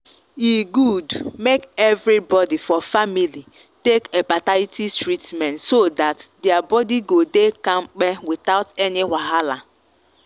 e good make everybody for family take hepatitis treatment so that their body go dey kampe without any wahala.